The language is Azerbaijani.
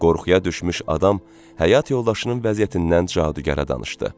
Qorxuya düşmüş adam həyat yoldaşının vəziyyətindən cadugərə danışdı.